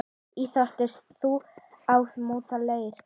Íþrótt sú að móta leir.